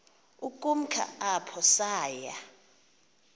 ukumka apho saya